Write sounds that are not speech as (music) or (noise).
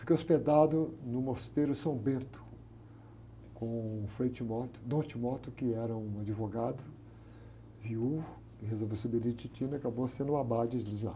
Fiquei hospedado no mosteiro São Bento, com o frei, (unintelligible) dom, (unintelligible) que era um advogado, viúvo, que resolveu ser beneditino, acabou sendo o abade de lá.